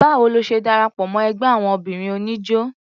Báwo lo ṣe darapọ̀ mọ́ ẹgbẹ́ àwon obìnrin oníjó?